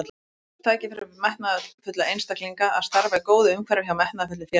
Frábært tækifæri fyrir metnaðarfulla einstaklinga að starfa í góðu umhverfi hjá metnaðarfullu félagi.